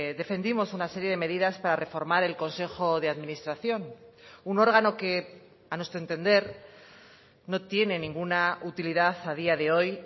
defendimos una serie de medidas para reformar el consejo de administración un órgano que a nuestro entender no tiene ninguna utilidad a día de hoy